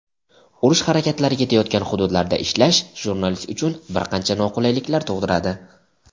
Urush harakatlari ketayotgan hududlarda ishlash jurnalist uchun bir qancha noqulayliklar tug‘diradi.